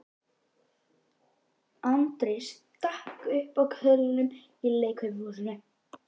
Andri stakk upp á köðlunum í leikfimishúsinu.